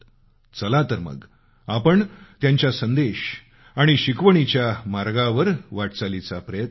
चला तर मग आपण त्यांच्या संदेश आणि शिकवणीच्या मार्गावर वाटचालीचा प्रयत्न करूयात